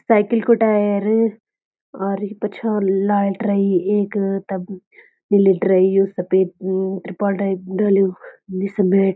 साइकिल कु टायर और पछा लाइट रई एक तब लिट्रयी यु सपेद ट्रिपल डैक डल्युं निस मैट --